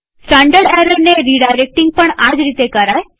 standard એરરને redirecting પણ આજ રીતે કરાય છે